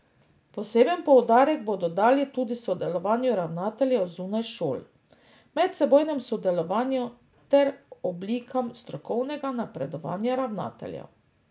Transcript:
Poseben poudarek bodo dali tudi sodelovanju ravnateljev zunaj šol, medsebojnem sodelovanju ter oblikam strokovnega napredovanja ravnateljev.